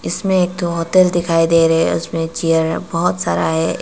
इसमें एक होटल दिखाई दे रहे हैं उसमें चेयर बहुत सारा है।